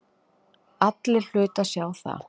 Allir hlutu að sjá það.